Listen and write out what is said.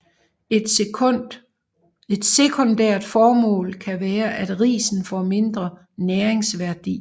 Et sekundært formål kan være at risen får mindre næringsværdi